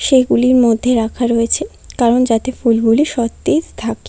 সেগুলির মধ্যে রাখা রয়েছে কারণ যাতে ফুলগুলি সতেজ থাক--